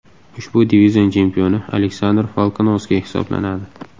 Ushbu divizion chempioni Aleksandr Volkanovski hisoblanadi.